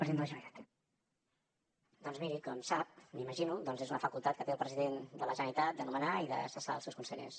doncs miri com sap m’imagino doncs és una facultat que té el president de la generalitat de nomenar i de cessar els seus consellers